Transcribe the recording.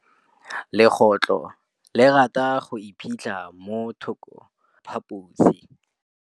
Legôtlô le rata go iphitlha mo thokô ga sekhutlo sa phaposi.